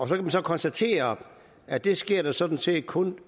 man konstatere at det sker der sådan set kun